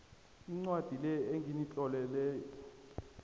incwadi le enginitlolele